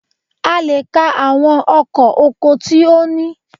A lè ka àwọn ọkọ̀ oko tí ó ní.